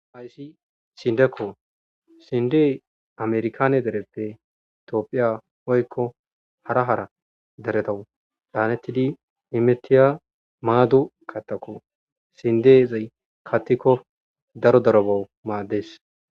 ayssi sindekko sinde amerkane dereppe itoopphiya oykko hara hara deretawu daanettidi imetiya maadu kattako sindeezey kattikko daro darobowu maaddes